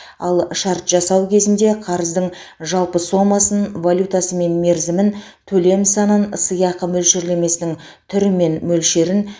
ал шарт жасау кезінде қарыздың жалпы сомасын валютасы мен мерзімін төлем санын сыйақы мөлшерлемесінің түрі мен мөлшерін